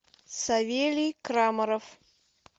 савелий крамаров